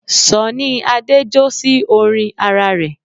Sọ̀nní Adé jó sí orin ara rẹ̀